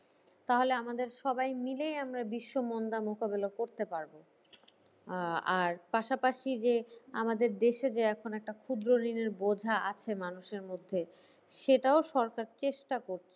তাহলে আমাদের সবাই মিলে আমরা বিশ্ব মন্দা মোকাবিলা করতে পারবো। আহ আর পাশাপাশি যে আমাদের দেশের যে একটা ক্ষুদ্র ঋণ বোঝা আছে মানুষের মধ্যে সেটাও সরকার চেষ্টা করছে।